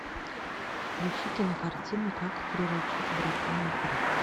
включи кинокартину как приручить дракона три